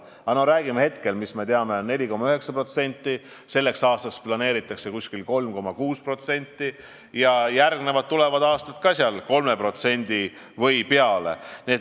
Aga räägime sellest, mida me hetkel teame: majanduskasv oli 4,9%, selleks aastaks planeeritakse umbes 3,6% ja järgmistel aastatel ka 3% või peale.